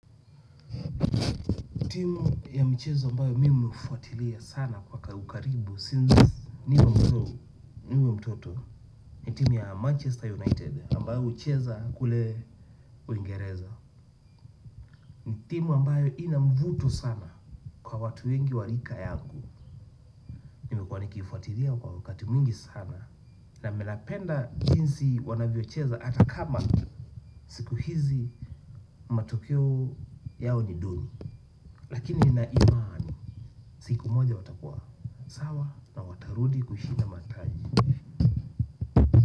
Timu ya mchezo ambayo mimi ufuatilia sana kwa ukaribu since niwe mdogo niwe mtoto. Ni timu ya Manchester United ambayo ucheza kule uingereza. Ni timu ambayo ina mvuto sana kwa watu wengi wa rika yangu nimekuwa nikifuatilia kwa wakati mwingi sana. Na ninapenda jinsi wanavyocheza hata kama hizi matokeo yao ni duni. Lakini nina imaani siku moja watakua. Sawa na watarudi kushinda mataji.